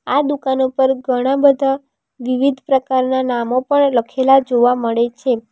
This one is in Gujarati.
આ દુકાન ઉપર ઘણાં બધા વિવિધ પ્રકારનાં નામો પણ લખેલા જોવા મળે છે.